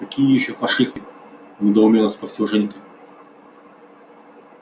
какие ещё фашисты недоуменно спросил женька